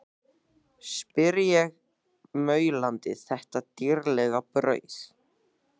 spyr ég, maulandi þetta dýrlega brauð.